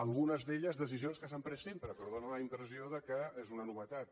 algunes d’elles decisions que s’han pres sempre però fa la impressió que és una novetat